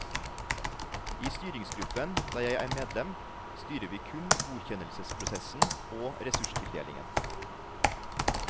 I styringsgruppen, der jeg er medlem, styrer vi kun godkjennelsesprosessen og ressurstildelingen.